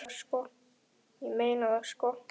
Ég meina það, sko.